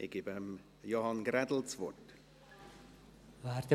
Ich erteile Johann Ulrich Grädel das Wort.